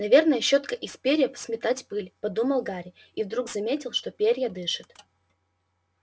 наверное щётка из перьев сметать пыль подумал гарри и вдруг заметил что перья дышат